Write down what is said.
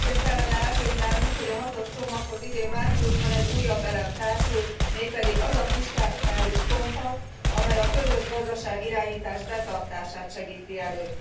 Sikerként kellene elkönyvelnünk, hogy a hatos csomaghoz idén márciusban egy újabb elem társul, mégpedig az a fiskális kompakt, amely a közös gazdaságirányítás betartását segíti elő.